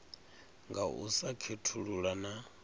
nga u sa khethulula na